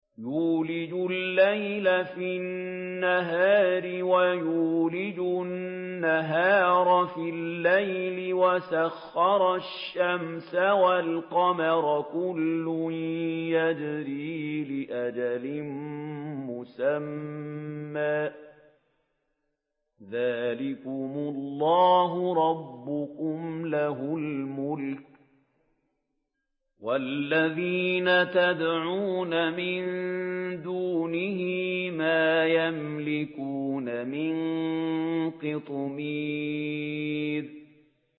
يُولِجُ اللَّيْلَ فِي النَّهَارِ وَيُولِجُ النَّهَارَ فِي اللَّيْلِ وَسَخَّرَ الشَّمْسَ وَالْقَمَرَ كُلٌّ يَجْرِي لِأَجَلٍ مُّسَمًّى ۚ ذَٰلِكُمُ اللَّهُ رَبُّكُمْ لَهُ الْمُلْكُ ۚ وَالَّذِينَ تَدْعُونَ مِن دُونِهِ مَا يَمْلِكُونَ مِن قِطْمِيرٍ